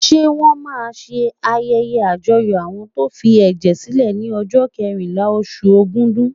Ṣé wọ́n máa ṣe ayẹyẹ àyájọ́ àwọn tó ń fi ẹ̀jẹ̀ sílè ní ọjọ́ kẹrìnlá, oṣù Ogúdù.